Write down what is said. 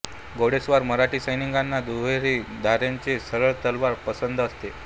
घोडेस्वार मराठा सैनिकांना दुहेरी धारेची सरळ तलवार पसंत असते